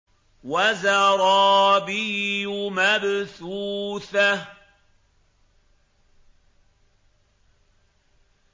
وَزَرَابِيُّ مَبْثُوثَةٌ